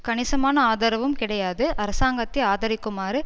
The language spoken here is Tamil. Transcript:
கணிசமான ஆதரவும் கிடையாது அரசாங்கத்தை ஆதரிக்குமாறு